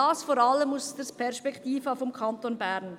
Dies vor allem aus der Perspektive des Kantons Bern.